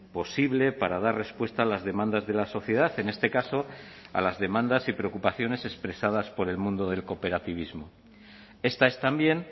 posible para dar respuesta a las demandas de la sociedad en este caso a las demandas y preocupaciones expresadas por el mundo del cooperativismo esta es también